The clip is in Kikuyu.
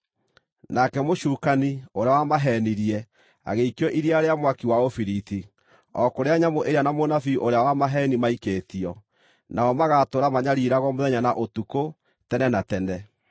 Nake mũcukani, ũrĩa wamaheenirie, agĩikio iria rĩa mwaki wa ũbiriti, o kũrĩa nyamũ ĩrĩa na mũnabii ũrĩa wa maheeni maikĩtio. Nao magaatũũra manyariiragwo mũthenya na ũtukũ tene na tene.